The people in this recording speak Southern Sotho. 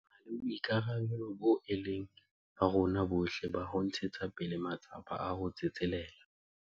Re na le boikarabelo boo e leng ba rona bohle ba ho ntshetsa pele matsapa a ho tsetselela